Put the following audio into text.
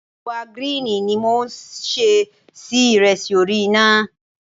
Ẹ̀wà gíríìnì yìí ni mo ṣẹ́ sí ìrẹsì orí iná.